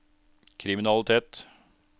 kriminalitet